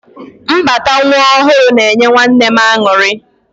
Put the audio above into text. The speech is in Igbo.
Mbata nwa ọhụrụ na-enye nwanne m aṅụrị.